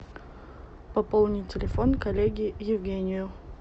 пополнить телефон коллеге евгению